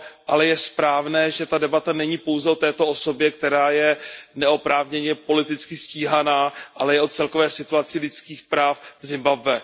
Ale je správné, že ta debata není pouze o této osobě, která je neoprávněně politicky stíhaná, ale i o celkové situaci lidských práv v Zimbabwe.